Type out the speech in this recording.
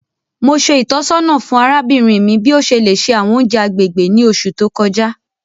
Mo ṣe ìtọ́sọ́nà fún arábìnrin mi bi o ṣe le ṣe àwọn ounjẹ agbègbè ni oṣù to kọjá.